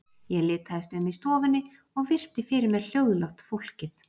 Ég litaðist um í stofunni og virti fyrir mér hljóðlátt fólkið.